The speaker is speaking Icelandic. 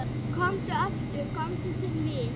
Komdu aftur komdu til mín.